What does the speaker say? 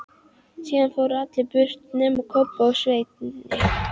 Síðan fóru allir burt nema Kobbi og Svenni.